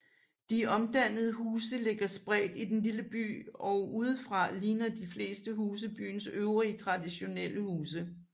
De omdannede huse ligger spredt i den lille by og udefra ligner de fleste huse byens øvrige traditionelle huse